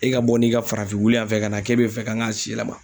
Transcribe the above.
E ka bɔ n'i ka farafin wulu yan fɛ ka na k'e bɛ fɛ ka k'a si yɛlɛma.